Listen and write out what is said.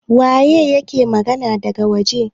waye yake magana daga waje?